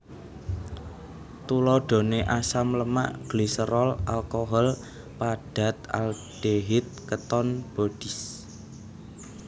Tuladhané asam lemak gliserol alkohol padat aldehid keton bodies